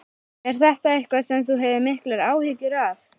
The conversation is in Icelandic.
Er þetta eitthvað sem þú hefur miklar áhyggjur af?